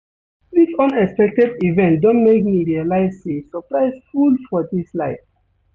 Dis unexpected event don make me realize sey surprise full for dis life.